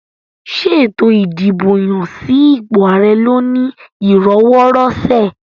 Ṣé ètò ìdìbò yàn sí ipò ààrẹ lọ ní ìrọwọ́-rọṣẹ̀?